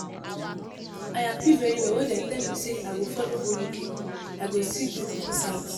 I happy very well wen dey tell me say I go follow go UK. I go see beautiful sights